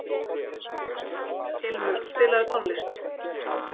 Ilmur, spilaðu tónlist.